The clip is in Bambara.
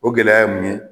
O gɛlɛya ye mun ye